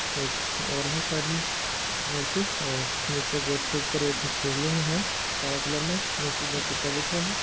एक और है साइड में मूर्ति और नीचे गेट के ऊपर एक शिवलिंग है काला कलर में नीचे दो कुत्ता बैठया है।